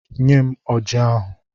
Nyem Ọji ahụ!